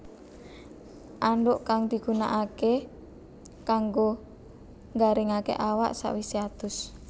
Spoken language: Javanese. Andhuk kang digunakaké kanggo nggaringaké awak sawisé adus